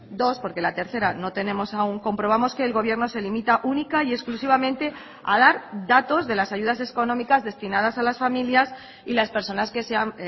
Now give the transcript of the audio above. dos porque la tercera no tenemos aún comprobamos que el gobierno se limita única y exclusivamente a dar datos de las ayudas económicas destinadas a las familias y las personas que se han